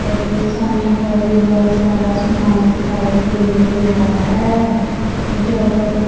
ਇਥੇ ਸਾਨੂੰ ਹੋਰ ਵੀ ਬਹੁਤ ਸਾਰਾ ਸਮਾਨ ਦਿਖਾਈ ਦੇ ਰਿਹਾ ਹੈ ਇਹ ਜੋ ਬਹੁਤ ਵੱਡ--